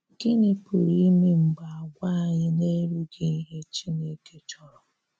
Gịnị̀ pụrụ imè mgbè àgwà̀ anyị na-erughị̀ ihè Chinekè chọrọ?